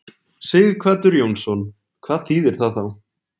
Sighvatur Jónsson: Hvað þýðir það þá?